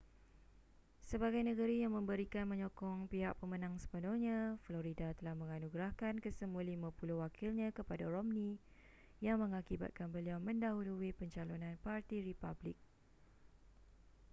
sebagai negeri yang memberikan menyokong pihak pemenang sepenuhnya florida telah menganugerahkan kesemua lima puluh wakilnya kepada romney yang mengakibatkan beliau mendahului pencalonan parti republik